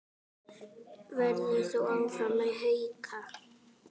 Verður þú áfram með Hauka?